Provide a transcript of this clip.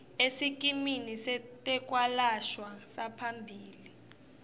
esikimini setekwelashwa saphambilini